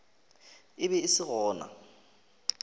e be e se gona